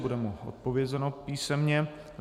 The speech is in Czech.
Bude mu odpovězeno písemně.